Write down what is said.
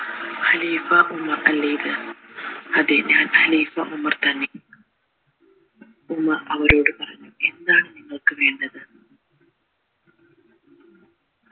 ഖലീഫ Umar അല്ലെ ഇത് അതെ ഞാൻഖലീഫ ഉമർ തന്നെ എന്ന് അവരോട് പറഞ്ഞു എന്താണ് നിങ്ങൾക്ക് വേണ്ടത്